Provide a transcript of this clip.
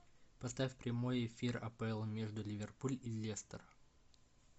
поставь прямой эфир апл между ливерпуль и лестер